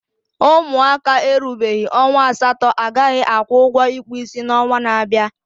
Ụmụaka erubeghị ọnwa asatọ agaghị akwụ ụgwọ ịkpụ isi n'onwa na-abịa